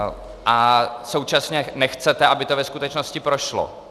A současně nechcete, aby to ve skutečnosti prošlo.